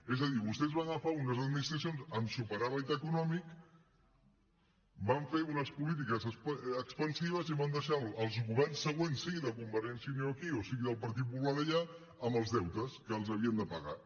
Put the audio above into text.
és a dir vostès van agafar unes administracions amb superàvit econòmic van fer unes polítiques expansives i van deixar els governs següents sigui de convergència i unió aquí o sigui del partit popular allà amb els deutes que els havien de pagar